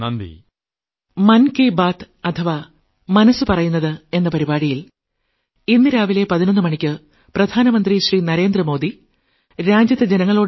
വളരെ വളരെയധികം നന്ദി